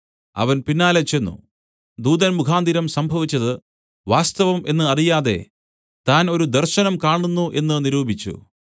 അവൻ പിന്നാലെ ചെന്ന് ദൂതൻ മുഖാന്തരം സംഭവിച്ചത് വാസ്തവം എന്ന് അറിയാതെ താൻ ഒരു ദർശനം കാണുന്നു എന്നു നിരൂപിച്ചു